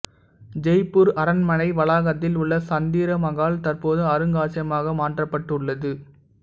ஜெய்ப்பூர் அரண்மனை வளாகத்தில் உள்ள சந்திர மகால் தற்போது அருங்காட்சியமாக மாற்றப்பட்டுள்ளது